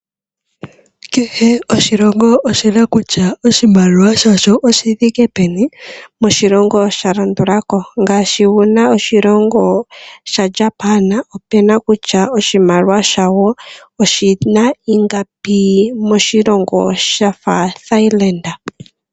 Kehe oshilongo oshina kutya oshimaliwa shasho oshithike peni moshilongo sha landulako. Ngaashi oshilongo sha Japan opuna kutya oshimaliwa shawo oshina ingapi moshilongo shafa Thailand.